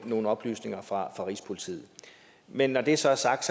nogle oplysninger fra rigspolitiet men når det så er sagt